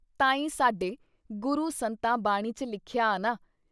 ਤਾਂ ਈ ਸਾਡੇ ਗੁਰੂ ਸੰਤਾਂ ਬਾਣੀ 'ਚ ਲਿਖਿਆ ਆ ਨਾ!